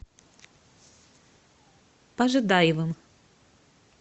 пожидаевым